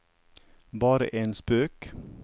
bare en spøk